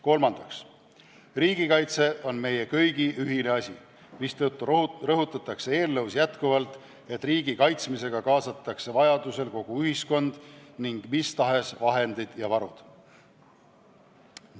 Kolmandaks, riigikaitse on meie kõigi ühine asi, mistõttu eelnõus rõhutatakse, et riigi kaitsmisse kaasatakse vajadusel kogu ühiskond ning mis tahes vahendid ja varud.